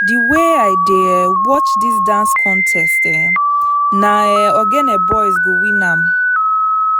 di wey i dey um watch dis dance contest um na um ogene boys go win am